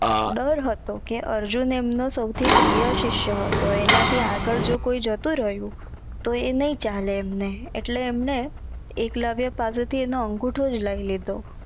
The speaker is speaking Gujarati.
દર હતો કે અર્જુન એએમનો સાવથી પ્રિય સીસ્ય હતો આના થી આગડ કોઈ જતું રહ્યું તો એ નઈ ચાલે એમને આટલે અમને એકલવ્ય પાસે થી અંગુઠોજ લઈ લીધો